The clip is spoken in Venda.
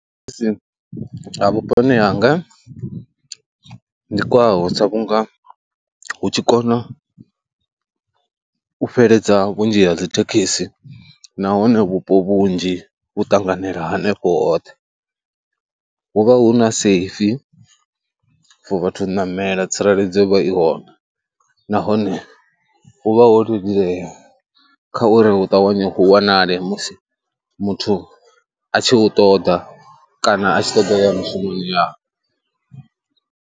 Thekhisi ha vhuponi hanga ndi kwaho sa vhunga hu tshi kona u fheledza vhunzhi ha dzithekhisi nahone vhupo vhunzhi vhu ṱanganela hanefho hoṱhe, hu vha hu na safe for vhathu ṋamela tsireledzo i vha i hone nahone hu vha ho leludzea kha uri hu ṱavhanye hu wanale musi muthu a tshi hu ṱoḓa kana a tshi ṱoḓa u ya mushumoni yawe.